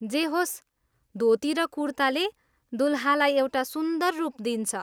जे होस्, धोती र कुर्ताले दुलहालाई एउटा सुन्दर रूप दिन्छ।